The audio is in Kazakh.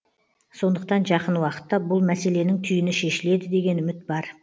сондықтан жақын уақытта бұл мәселенің түйіні шешіледі деген үміт бар